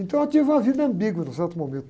Então eu tive uma vida ambígua num certo momento.